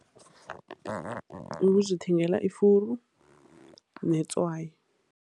Ukuzithengela ifuru netswayi.